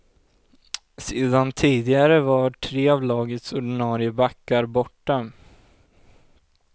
Sedan tidigare var tre av lagets ordinarie backar borta.